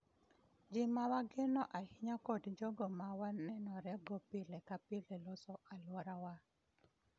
Ji ma wageno ahinya kod jogo ma wanenore go pile ka pile loso alwora wa